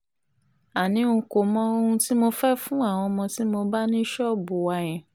àní n kò mọ ohun tí mo fẹ́ẹ́ fún àwọn ọmọ tí mo bá ní ṣọ́ọ̀bù wa yẹn